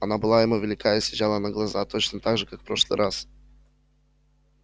она была ему велика и съезжала на глаза точно так же как в прошлый раз